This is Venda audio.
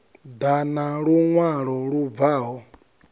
ḓa na luṅwalo lu bvaho